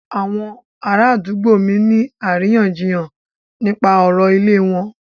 Àwọn ará àdúgbò mí ń ní àríyànjiyàn nípa ọ̀rọ̀ ìlẹ̀ wọn.